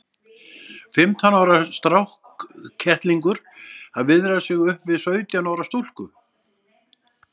Fimmtán ára strákkettlingur að viðra sig upp við sautján ára stúlku!